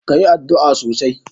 ka yi addu'a sosai.!